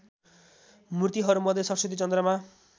मूर्तिहरूमध्ये सरस्वती चन्द्रमा